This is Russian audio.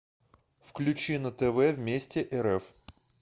включи на тв вместе рф